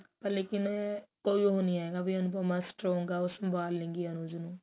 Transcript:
ਲੇਕਿਨ ਵੀ ਕੀ ਉਹ ਨੀ ਹੈਗਾ ਵੀ ਅਨੁਪਮਾ strong ਆ ਉਹ ਸੰਭਾਲ ਲੈਗਈ ਅਨੁਜ ਨੂੰ